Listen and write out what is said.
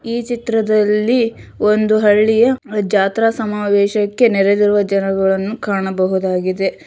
ಈ ಚಿತ್ರದಲ್ಲಿ ಒಂದು ಹಳ್ಳಿಯ ಜಾತ್ರಾ ಸಮಾವೇಶಕ್ಕೆ ನೆರೆದಿರುವ ಜನರನ್ನು ಕಾಣಬಹುದಾಗಿದೆ